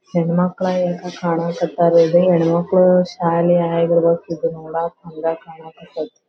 ಹೆಣ್ಣ ಮಕ್ಕಳ್ ಯಾಕ್ ಕಾಣ್ ಕತ್ತರ್ ಇದು ಹೆಣ್ಣ ಮಕ್ಕಳ್ ಶಾಲೆ. ಇದು ನೋಡಕ್ ಕುಂದ್ರಕ್ ಕಾಣ್ ಕತ್ತತಿ .